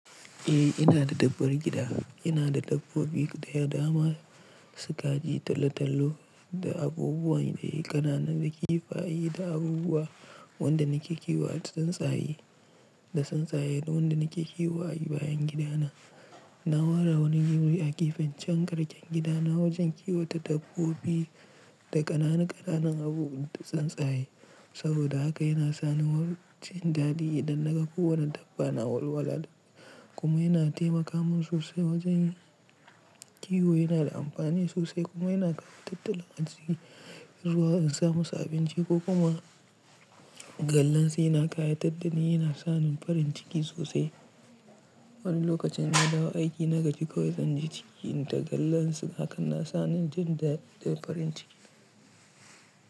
Eh ina da dabbar gida, ina da dabbobi guda da dama, su kaji tallo-tallo da abubuwa irin ƙananun da kifaye da abubuwa wanda nake kiwo a tsintsaye da tsinstaye da wanda nake kiwo a bayan gidana. Na ware wani guri a gefen can ƙarƙen gidana wajen kiwata dabbobi da ƙananan ƙananan abubuwan da tsintsaye, saboda haka yana sani jin daɗi idan na ga kowane dabba na walwala kuma yana taimaka mun sosai wajen kiwo yana da amfani sosai kuma yana kara tattalin arziki ruwa in samusu abinci ko kuma gallan shi na ƙayatar da ni yana sani farin ciki sosai. Wani lokacin na dawo aiki na gaji kawai zan ji ciki inta kallan su hakan na sani jin daɗi da farin ciki.